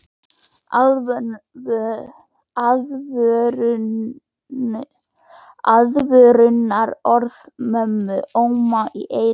Aðvörunarorð mömmu óma í eyrum hennar.